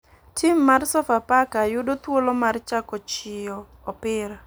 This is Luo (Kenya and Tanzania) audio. Tim mar sofafaka yudo thuolo mar chako chiyo opira.